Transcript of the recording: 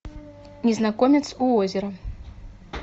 незнакомец у озера